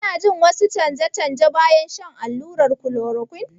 Kuna jin wasu canje-canje bayan shan allurar chloroquine?